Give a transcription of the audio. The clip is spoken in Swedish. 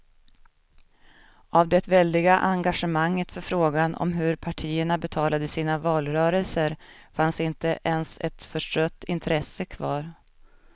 Av det väldiga engagemanget för frågan om hur partierna betalade sina valrörelser fanns inte ens ett förstrött intresse kvar.